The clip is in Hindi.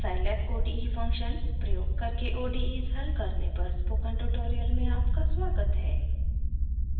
scilab ode function प्रयोग करके odes हल करने पर स्पोकन ट्यूटोरियल में आपका स्वागत है